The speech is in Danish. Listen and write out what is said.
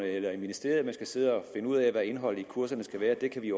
eller i ministeriet man skal sidde og finde ud af hvad indholdet i kurserne skal være det kan vi i